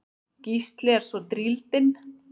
Gísli er svo drýldinn.